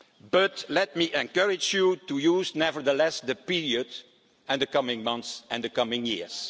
But let me encourage you to use, nevertheless, the period and the coming months and the coming